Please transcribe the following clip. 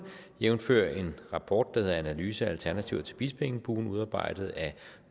jævnfør en rapport der hedder analyse af alternativer til bispeengbuen udarbejdet af